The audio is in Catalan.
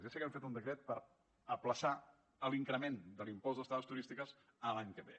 ja sé que han fet un decret per ajornar l’increment de l’impost d’estades turístiques a l’any que ve